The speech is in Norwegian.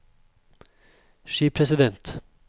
skipresident